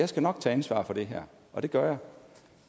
skal nok tage ansvar for det her og det gør jeg